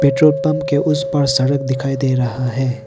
Petrol pump के उस पार सड़क दिखाई दे रहा है।